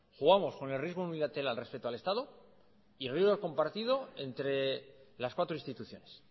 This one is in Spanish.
jugamos con el riesgo unilateral respecto al estado y el riesgo compartido entre las cuatros instituciones